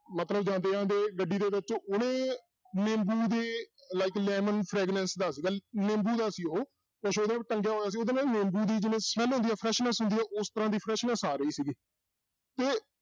ਮਤਲਬ ਜਾਂਦੇ-ਜਾਂਦੇ ਗੱਡੀ ਦੇ ਵਿੱਚ ਉਹਨੇ ਨਿੰਬੂ ਦੇ like lemon fragrance ਦਾ ਸੀਗਾ ਨਿੰਬੂ ਦਾ ਸੀ ਉਹ, ਕੁੱਛ ਉਹਦਾ ਟੰਗਿਆਂ ਹੋਇਆ ਸੀ ਉਹਦੇ ਵਿੱਚ ਨਿੰਬੂ ਦੀ ਜਿਵੇਂ smell ਹੁੰਦੀ ਹੈ freshness ਹੁੰਦੀ ਆ ਉਸ ਤਰਾਂ ਦੀ freshness ਆ ਰਹੀ ਸੀਗੀ ਤੇ